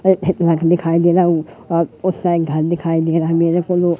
घर दिखाई दे रहा और अह उस साइड घर दिखाई दे रहा है मेरे को लो--